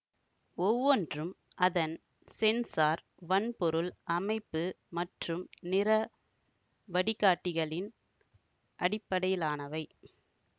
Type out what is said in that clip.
ஒவ்வொன்றும் அதன் சென்சார் வன்பொருள் அமைப்பு மற்றும் நிற வடிகாட்டிகளின் அடிப்படையிலானவை